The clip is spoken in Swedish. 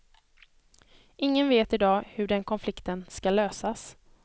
Ingen vet idag hur den konflikten skall lösas.